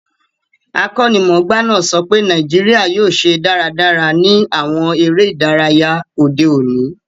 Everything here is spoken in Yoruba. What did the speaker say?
Akọ́nimọ̀gbá náà sọpé Naijiria yio se dáradára ni àwon eré ìdáriya òde òní